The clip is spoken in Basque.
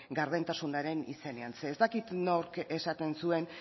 gardentasunaren izenean zeren ez dakit nork esaten zuen